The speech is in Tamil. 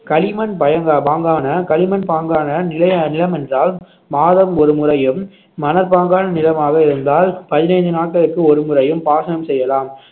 களிமண் பைங்க~ பாங்கான களிமண் பாங்கான நிலை~ நிலம் என்றால் மாதம் ஒரு முறையும் மணற்பாங்கான நிலமாக இருந்தால் பதினைந்து நாட்களுக்கு ஒரு முறையும் பாசனம் செய்யலாம்